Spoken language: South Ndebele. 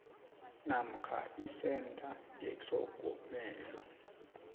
namkha isentha yetlhogomelo